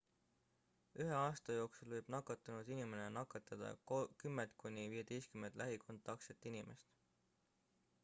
ühe aasta jooksul võib nakatunud inimene nakatada 10-15 lähikontaktset inimest